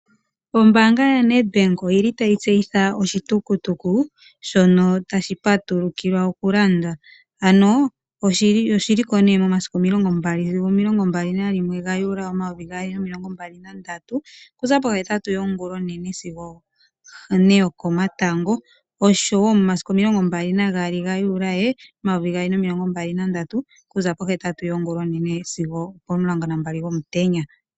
Ombanga ya Ned Bank oyili tayi tseyitha oshitukutuku shono tashi patulukilwa oku landwa ano oshili ko ne momasiku omilongo mbali sigo omilongo mbali nalimwe gajuly omayovi gaali nomilongo mbali nandatu okuza pohetatu yongulonene sigo one yoko matango oshowo momasiku omilongo mbali naagali gajuly omayovi gaali nomilongo mbali nandatu kuza po hetatu yongulonene sigo opo mulongo nambali gomutenya.